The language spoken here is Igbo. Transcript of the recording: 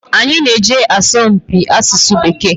Anyị na-eje asọmpi asụsụ Bekee.